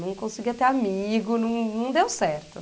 Não conseguia ter amigo, não não deu certo.